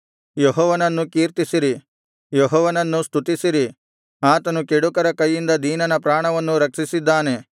ಯೆಹೋವನನ್ನು ಕೀರ್ತಿಸಿರಿ ಯೆಹೋವನನ್ನು ಸ್ತುತಿಸಿರಿ ಆತನು ಕೆಡುಕರ ಕೈಯಿಂದ ದೀನನ ಪ್ರಾಣವನ್ನು ರಕ್ಷಿಸಿದ್ದಾನೆ